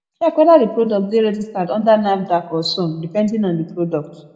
heck whether di product dey registered under nafdac or son depnding on di product